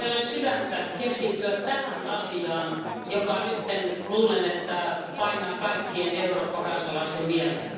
Eikö teillä ole sydäntä keskittyä tähän asiaan, jonka nyt luulen painavan kaikkien Euroopan kansalaisten mieltä?